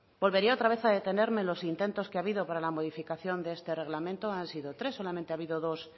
volvería otra vez a detenerme en los intentos que ha habido para la modificación de este reglamento han sido tres solamente ha habido dos